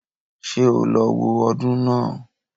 Ṣé o lọ wo ọdún náà